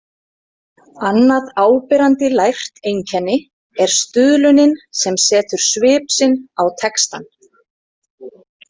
Annað áberandi lært einkenni er stuðlunin sem setur svip sinn á textann .